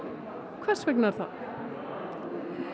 hvers vegna er það